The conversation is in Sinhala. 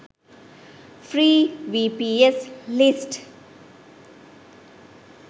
free vps list